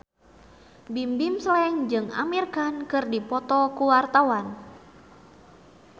Bimbim Slank jeung Amir Khan keur dipoto ku wartawan